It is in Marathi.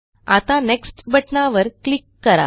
आता नेक्स्ट बटणावर क्लिक करा